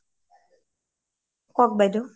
কওঁক বাইদেউ